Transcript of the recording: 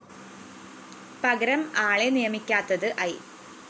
പകരം ആളെ നിയമിക്കാത്തത് ഐ